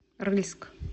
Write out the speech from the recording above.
рыльск